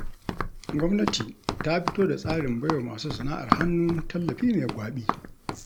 Gwamnati ta fito da tsarin baiwa masu sana'ar hannu tallafi mai gwaɓi